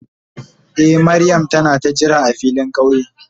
Eh Mariam ta na ka jira a filin kauye.